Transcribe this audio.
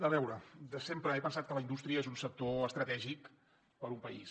a veure de sempre he pensat que la indústria és un sector estratègic per a un país